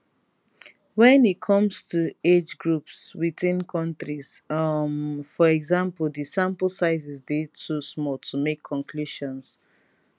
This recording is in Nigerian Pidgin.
wen e comes to age groups within countries um for example di sample sizes dey too small to make conclusions